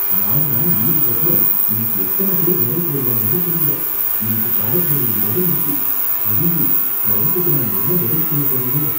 நாலு நாள் லீவுக்கு அப்புறம் இன்னிக்கு எத்தன பேரு வேலைக்கு வருவாங்கன்னு தெரியல, இன்னிக்கு பிராடக்ட் டெலிவரி வேற இருக்கு, அய்யய்யோ கிளையன்டுக்கு நான் என்ன பதில் சொல்லப் போறேனோ!